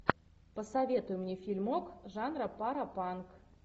посоветуй мне фильмок жанра паропанк